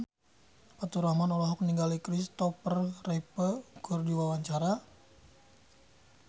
Faturrahman olohok ningali Kristopher Reeve keur diwawancara